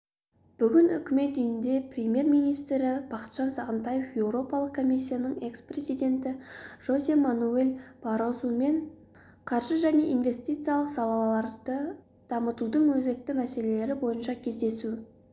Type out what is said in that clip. бүгін үкімет үйінде премьер-министрі бақытжан сағынтаев еуропалық комиссияның экс-президенті жозе мануэль баррозумен қаржы және инвестициялық салаларды дамытудың өзекті мәселелері бойынша кездесу